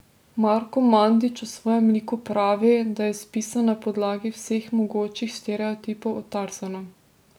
Marko Mandić o svojem liku pravi, da je izpisan na podlagi vseh mogočih stereotipov o Tarzanu.